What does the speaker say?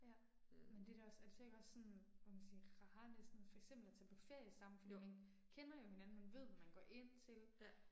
Ja. Men det er da også, er det så ikke også sådan, hvad kan man sige, rarere næsten for eksempel at tage på ferie sammen fordi man kender jo hinanden, man ved hvad man går ind til